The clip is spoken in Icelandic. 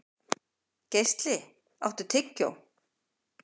Geisli, áttu tyggjó?